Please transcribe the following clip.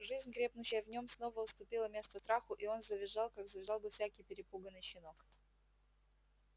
жизнь крепнущая в нем снова уступила место страху и он завизжал как завизжал бы всякий перепуганный щенок